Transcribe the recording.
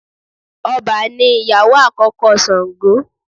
Ọbà ni ìyàwó àkókó Sàngó